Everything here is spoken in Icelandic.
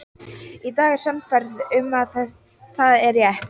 Í dag er ég sannfærð um að það er rétt.